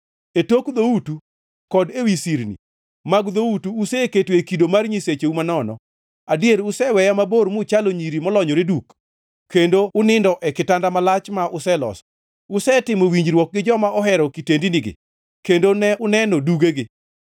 E tok dhoutu kod ewi sirni mag dhoutu useketoe kido mar nyisecheu manono. Adier useweya mabor muchalo nyiri molonyore duk kendo unindo e kitanda malach ma useloso; usetimo winjruok gi joma uhero kitendinigi kendo ne uneno dugegi.